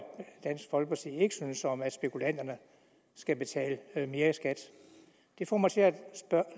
dansk folkeparti ikke synes om at spekulanterne skal betale mere i skat det får mig til at